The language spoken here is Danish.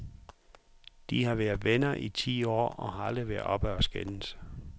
De har været venner i ti år og har aldrig været oppe at skændes.